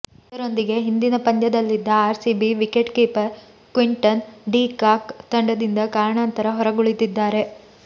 ಇದರೊಂದಿಗೆ ಹಿಂದಿನ ಪಂದ್ಯದಲ್ಲಿದ್ದ RCB wicket keeper Quinton de Kock ತಂಡದಿಂದ ಕಾರಣಾಂತರ ಹೊರಗುಳಿದಿದ್ದಾರೆ